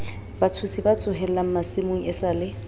batshosi ba tsohellang masimong esale